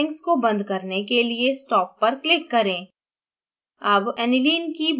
optimization settings को बंद करने के लिए stop पर click करें